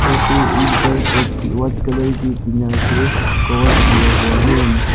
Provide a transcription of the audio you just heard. और फिर इस घर को व्हाइट कलर के टीना से कवर किया हुआ है।